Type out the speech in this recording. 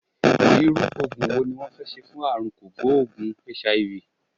Irú Ògùn wo ni wón fẹ́ ṣe fún àrùn kògbóògùn HIV?